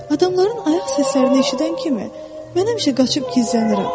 Adamların ayaq səslərini eşidən kimi mən həmişə qaçıb gizlənirəm.